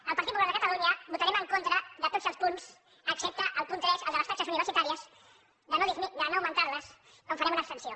el partit popular de catalunya votarem en contra de tots els punts excepte el punt tres el de les taxes universitàries de no augmentar les on farem una abstenció